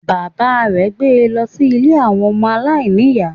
Bàbá rè gbé e lọ sí Ilé àwọn ọmọ aláìníìyá